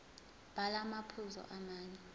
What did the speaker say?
bhala amaphuzu amane